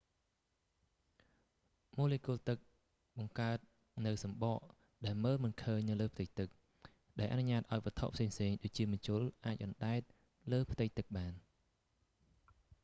ម៉ូលេគុលទឹកបង្កើតនូវសំបកដែលមើលមិនឃើញនៅលើផ្ទៃទឹក ដែលអនុញ្ញាតឱ្យវត្ថុផ្សេងៗដូចជាម្ជុលអាចអណ្ដែតពីលើផ្ទៃទឹកបាន